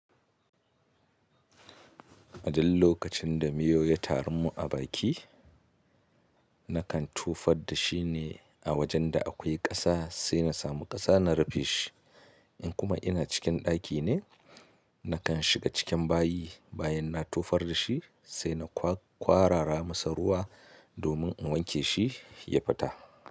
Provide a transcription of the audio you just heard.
A duk lokacin da miyau ya tarun mun a baki, nakan tufar da shi ne a wajen da akwai ƙasa sai na samu ƙasa na rufe shi. In kuma ina cikin ɗaki ne, nakan shiga cikin bayi bayan na tufar da shi sai na kwarara masa ruwa domin in wanke shi ya fita.